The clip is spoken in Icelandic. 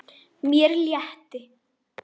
Mér létti.